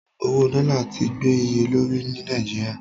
Owó dọ́là ti gbé iye lórí ní Nàìjíríà.